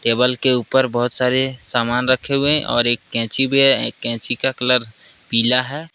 Table के ऊपर बहुत सारे सामान रखे हुए और एक कैंची भी है कैंची का कलर पीला है।